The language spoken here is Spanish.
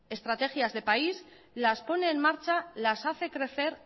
estrategias de país las pone en marcha las hace crecer